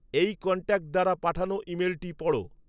এই কন্ট্যাক্ট দ্বারা পাঠানো ইমেলটি পড়